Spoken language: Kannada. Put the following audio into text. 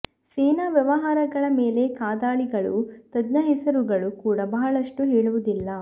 ಸೇನಾ ವ್ಯವಹಾರಗಳ ಮೇಲೆ ಕಾದಾಳಿಗಳು ತಜ್ಞ ಹೆಸರುಗಳು ಕೂಡ ಬಹಳಷ್ಟು ಹೇಳುವುದಿಲ್ಲ